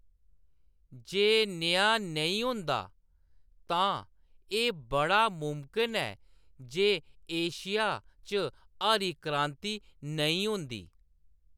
जे नेहा नेईं होंदा तां एह्‌‌ बड़ा मुमकन ऐ जे एशिया च हरी क्रांति नेईं होंदी।